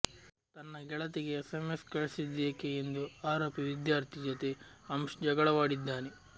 ತನ್ನ ಗೆಳತಿಗೆ S MS ಕಳಿಸಿದ್ದೇಕೆ ಎಂದು ಆರೋಪಿ ವಿದ್ಯಾರ್ಥಿ ಜೊತೆ ಅಂಶ್ ಜಗಳವಾಡಿದ್ದಾನೆ